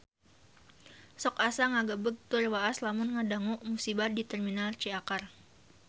Sok asa ngagebeg tur waas lamun ngadangu musibah di Terminal Ciakar